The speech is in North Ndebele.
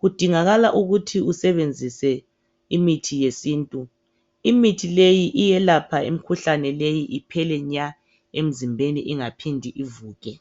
Kudingakala ukuthi usebenzise imithi wesintu, imithi leyi iyelapha imkhuhlane leyi iphele nya emzimbeni ingaphindi ivuke.